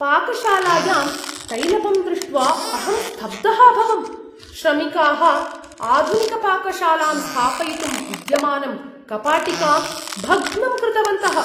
पाकशालायां तैलपम् दृष्ट्वा अहं स्तब्धः अभवम् । श्रमिकाः आधुनिकपाकशालां स्थापयितुं विद्यमानं कपाटिकाम् भग्नं कृतवन्तः।